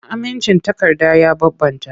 Amincin takarda ya bambanta.